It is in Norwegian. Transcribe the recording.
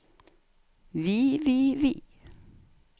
vi vi vi